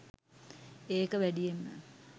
ඒක වැඩියෙන්ම